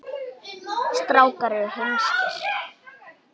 Um kvöldið lítur Agnes inn.